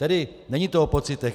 Tedy není to o pocitech.